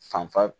Fanfa